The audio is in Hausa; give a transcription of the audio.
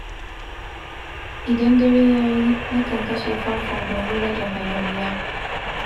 Idan dare ya yi, na kan kashe fanfo domin rage hayaniya.